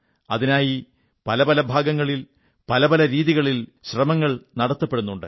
അതിനായി പല പല ഭാഗങ്ങൡ പല പല രീതികളിൽ ശ്രമങ്ങൾ നടത്തപ്പെടുന്നുണ്ട്